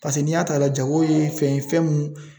Paseke, n'i y'a ta k'a lajɛ jako ye fɛn ye fɛn mun